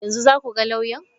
Yanzu za ku ga lauya?